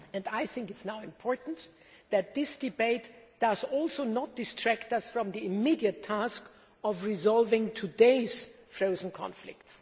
I think it is now important that this debate does not distract us from the immediate task of resolving today's frozen conflicts.